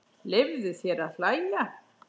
Leyfðu þér að hlæja.